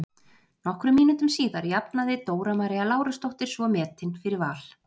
Nokkrum mínútum síðar jafnaði Dóra María Lárusdóttir svo metin fyrir Val.